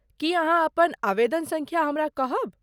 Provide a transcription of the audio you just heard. की अहाँ अपन आवेदन सङ्ख्या हमरा कहब?